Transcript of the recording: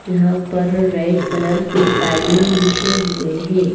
यहां पर red colour के कालीन बिछे हुए हैं।